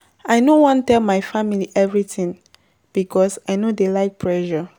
I no wan tell my family everytin because I no dey like pressure.